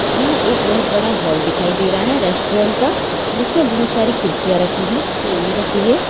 यहाँ एक बहुत हॉल दिखाई दे रहा है रेस्ट्रोरेंट का जिसमें बहुत सारी कुर्सियां रखी है टेबल रखे हैं।